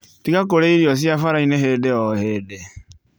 Tiga kũrĩa irio cia barainĩ hĩndĩ o hĩndĩ